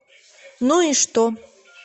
ну и что